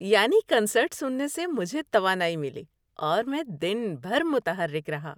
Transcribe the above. یانی concert سننے سے مجھے توانائی ملی اور میں دن بھر متحرک رہا۔